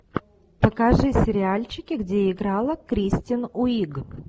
покажи сериальчики где играла кристен уиг